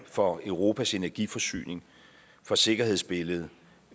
for europas energiforsyning for sikkerhedsbilledet